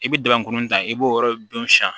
I bɛ dɛmɛko ta i b'o yɔrɔ dun sisan